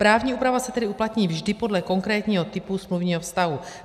Právní úprava se tedy uplatní vždy podle konkrétního typu smluvního vztahu.